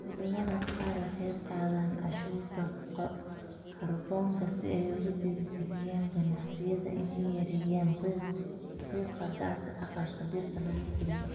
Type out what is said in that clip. Wadamada qaar waxay qaadaan cashuurta kaarboonka si ay ugu dhiirigeliyaan ganacsiyada inay yareeyaan qiiqa gaaska aqalka dhirta lagu koriyo.